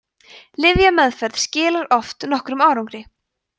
lyfjameðferð skilar oft nokkrum árangri